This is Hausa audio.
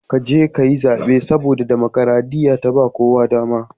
Ka je ka yi zabe, saboda damakaraɗiya ta ba kowa dama.